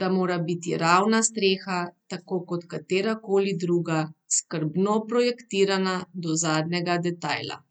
da mora biti ravna streha, tako kot katera koli druga, skrbno projektirana do zadnjega detajla.